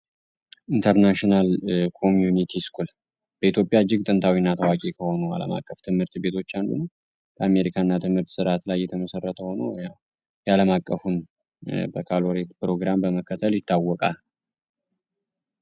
ኢንተርናሽናል ኮሚንቲ እስኩል በኢትዮጵያ አጅግ ጥንታዊ እና ታዋቂ ሲሆኑ አለማቀፍ ት/ቤቶች አንዱ ነዉ። በአሜሪካ እና ትምህርት ስርአት ላይ የተመሰረተ ሆኖ ያዉ ያለማቀፉን በካሎሬት ፕሮግራም በመከተል ይታወቃል።